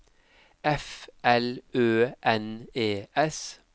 F L Ø N E S